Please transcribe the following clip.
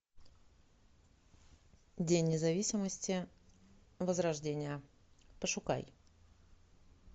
день независимости возрождение пошукай